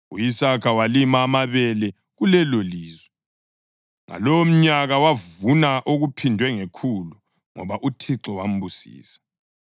U-Isaka walima amabele kulelolizwe, ngalowomnyaka wavuna okuphindwe ngekhulu, ngoba uThixo wambusisa.